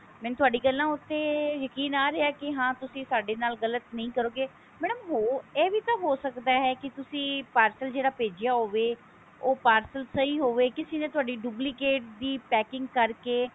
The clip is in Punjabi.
ਮੈਨੂੰ ਤੁਹਾਡੀ ਗਲਾ ਉੱਤੇ ਯਕੀਨ ਆ ਰਿਹਾ ਕਿ ਹਾਂ ਤੁਸੀਂ ਸਾਡੇ ਨਾਲ ਗਲਤ ਨਹੀਂ ਕਰਦੇ madam ਹੋਰ ਇਹ ਵੀ ਤਾਂ ਹੋ ਸਕਦਾ ਹੈ ਕੀ ਤੁਸੀਂ parcel ਜਿਹੜਾ ਭੇਜਿਆ ਹੋਵੇ ਉਹ parcel ਸਹੀ ਹੋਵੇ ਕਿਸੀ ਨੇ ਤੁਹਾਡੀ duplicate ਦੀ packing ਕਰਕੇ